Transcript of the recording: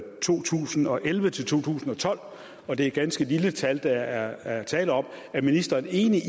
to tusind og elleve til to tusind og tolv og det er et ganske lille tal der er tale om er ministeren enig i